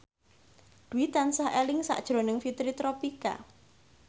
Dwi tansah eling sakjroning Fitri Tropika